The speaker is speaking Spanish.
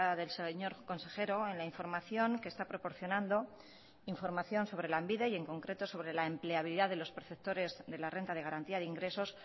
del señor consejero en la información que está proporcionando información sobre lanbide y en concreto sobre la empleabilidad de los perceptores de la renta de garantía de ingresos